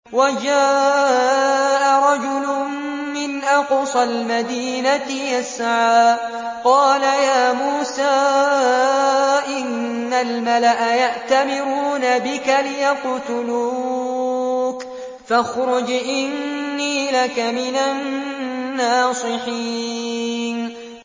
وَجَاءَ رَجُلٌ مِّنْ أَقْصَى الْمَدِينَةِ يَسْعَىٰ قَالَ يَا مُوسَىٰ إِنَّ الْمَلَأَ يَأْتَمِرُونَ بِكَ لِيَقْتُلُوكَ فَاخْرُجْ إِنِّي لَكَ مِنَ النَّاصِحِينَ